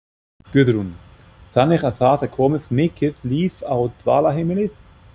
Guðrún: Þannig að það er komið mikið líf á dvalarheimilið?